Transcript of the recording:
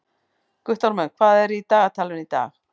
Guttormur, hvað er í dagatalinu í dag?